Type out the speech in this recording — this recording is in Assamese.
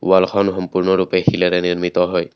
ওৱালখন সম্পূৰ্ণৰূপে শিলেৰে নিৰ্মিত হয়।